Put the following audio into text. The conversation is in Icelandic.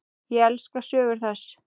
Ég elska sögur þess.